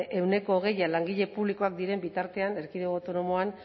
ehuneko hogei langile publikoak diren bitartean erkidego autonomoan